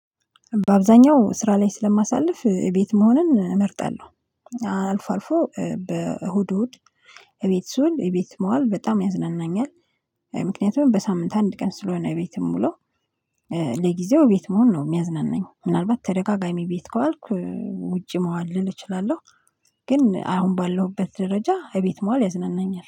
በአብዛኛው ስራ ላይ ስለማሳልፍ ቤት መሆንን እመርጣለሁ አልፎ አልፎ በእሁድ እሁድ እቤት ስውል እቤት መዋል በጣም ያዝናናኛል። ምክንያቱም በሳምንት አንድ ቀን ስለሆነ ቤት ምውለው። ለጊዜው ቤት መሆን ነው የሚያዝናናኝ ምናልባት ተደጋጋሚ ቤት ከዋልኩ ውጪ መዋል ልል እችላለሁ። ግን አሁን ባለሁበት ደረጃ ከቤት መዋል ያዝናናኛል